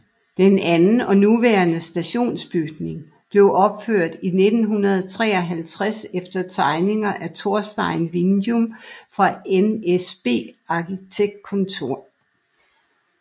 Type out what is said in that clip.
Den anden og nuværende stationsbygning blev opført i 1953 efter tegninger af Torstein Winjum fra NSB Arkitektkontor